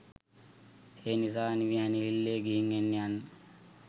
ඒනිසා නිවිහැනහිල්ලේ ගිහිං එන්න යන්න.